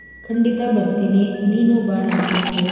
ಖಂಡಿತಾ ಬರ್ತೀನಿ, ನೀನು ಬಾ ನಮ್ ಮನೆಗೆ.